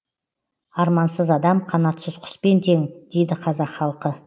армансыз адам қанатсыз құспен тең дейді қазақ халқы